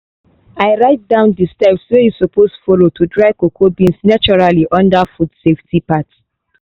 i write down the steps wey you suppose follow to dry cocoa beans naturally under the food safety part